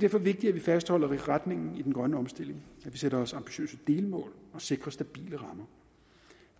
derfor vigtigt at vi fastholder retningen i den grønne omstilling at vi sætter os ambitiøse delmål og sikrer stabile rammer